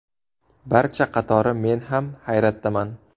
Barcha qatori men ham hayratdaman.